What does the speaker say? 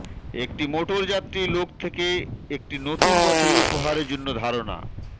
একটি মোটরযাত্রী লোক থেকে একটি নতুন বছরের উপহার জন্য ধারণা